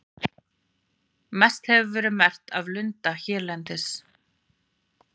Mest hefur verið merkt af lunda hérlendis.